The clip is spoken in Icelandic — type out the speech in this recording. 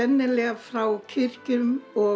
frá kirkjum og